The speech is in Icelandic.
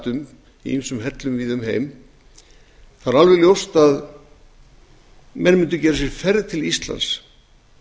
um í ýmsum hellum víða um heim þá er alveg ljóst að menn mundu gera sér ferð til íslands